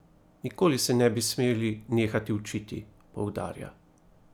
Nikoli se ne bi smeli nehati učiti, poudarja.